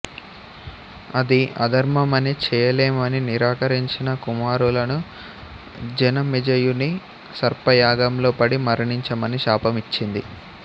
అది అధర్మమని చేయలేమని నిరాకరించిన కుమారులను జనమేజయుని సర్పయాగంలో పడి మరణించమని శాపం ఇచ్చింది